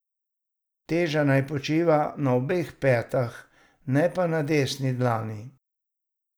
Teža naj počiva na obeh petah, ne pa na desni dlani.